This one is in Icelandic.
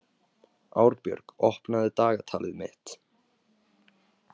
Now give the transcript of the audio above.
Árbjörg, opnaðu dagatalið mitt.